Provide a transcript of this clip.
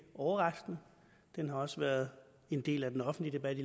overraskende den har også været en del af den offentlige debat